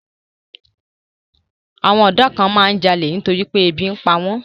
Àwọn ọ̀dọ́ kan máa ń jalè nítorí pé ebi ń pa wọ́n.